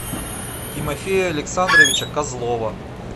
тимофея александровича козлова